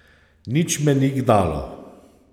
Nič me ni gnalo.